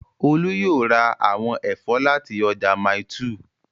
Olú yóò ra àwọn ẹ̀fọ́ láti ọjà Mile 2